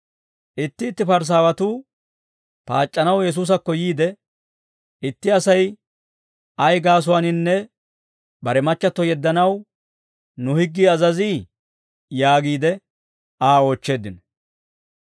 Itti itti Parisaawatuu paac'c'anaw Yesuusakko yiide, «Itti Asay ay gaasuwaaninne, bare machchatto yeddanaw nu higgii azazii?» yaagiide Aa oochcheeddino.